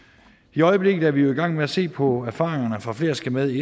i øjeblikket er vi jo i gang med at se på erfaringerne fra flere skal med i